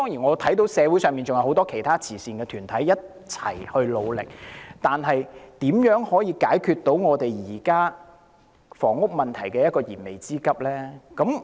我看到社會上還有很多其他慈善團體正在一起努力，但如何能夠解決現時房屋問題的燃眉之急呢？